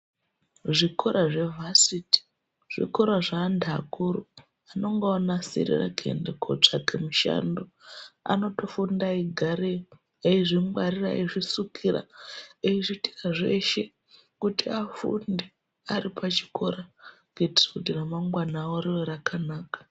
Zvikora zvevasiti zvikora zvevantu vakuru vavanonga vonasirira kunotsvake mushando anotofunda eyigareyo aizvingwarira eyizvisukira eyizviitira zveshe kuti afunde varipachikora kuitira ramangwana ravo rive rakanaka.